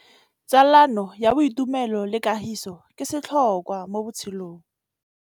Tsalano ya boitumelo le kagiso ke setlhôkwa mo botshelong.